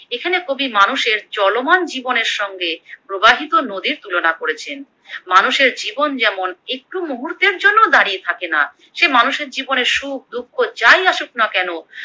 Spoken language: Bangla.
এখানে কবি মানুষের চলমান জীবনের সঙ্গে প্রবাহিত নদীর তুলনা করেছেন। মানুষের জীবন যেমন একটু মুহূর্তের জন্যেও দাঁড়িয়ে থাকে না, সে মানুষের জীবনে সুখ, দুঃখ যাই আসুক না কেন।